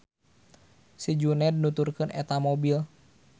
Si Juned nuturkeun eta mobil.